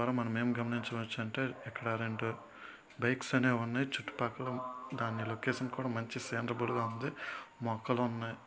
మనం మనమేం గమనించవచ్చు అంటే ఇక్కడ రెండు బైక్స్ అనేవి ఉన్నాయి. చుట్టుపక్కల దాని లొకేషన్ కూడా మంచి సీనరబుల్ గా ఉంది. మొక్కలున్నాయ్.